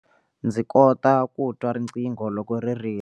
Ndzi kota ku twa riqingho loko ri rila.